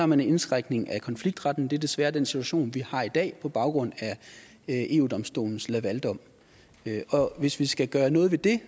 man en indskrænkning af konfliktretten og det er desværre den situation vi har i dag på baggrund af eu domstolens lavaldom og hvis vi skal gøre noget ved det